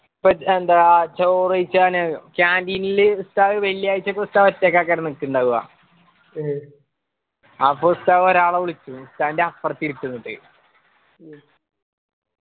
ഇപ്പൊ എന്താ ചോറ് വെയ്ക്കാൻ നേരം canteen ഉസ്താദ് വെള്ളിയാഴ്ചക്ക് ഉസ്താദ് ഒറ്റക്ക അക്കര നിക്കുന്നുണ്ടാവ അപ്പൊ ഉസ്താദ് ഒരാള വിളിക്കും ഉസ്താന്റെ അപ്പർത് ഇരിക്കുന്നത്